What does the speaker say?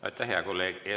Aitäh, hea kolleeg!